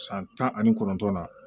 San tan ani kɔnɔntɔn na